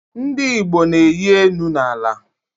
Ndi Igbo na-eyi enu na ala